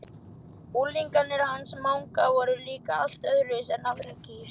Unglingarnir hans Manga voru líka allt öðruvísi en aðrar kýr.